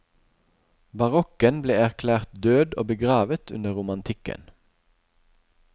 Barokken ble erklært død og begravet under romantikken.